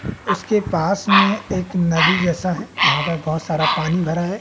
उसके पास में एक नदी जैसा है जहां पर बहोत सारा पानी भरा है।